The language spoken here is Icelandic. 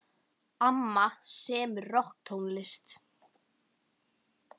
Amma semur rokktónlist.